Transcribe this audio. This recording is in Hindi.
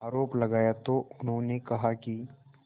आरोप लगाया तो उन्होंने कहा कि